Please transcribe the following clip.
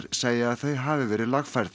segja að þau hafi verið lagfærð